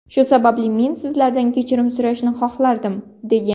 Shu sababli men sizlardan kechirim so‘rashni xohlardim”, degan.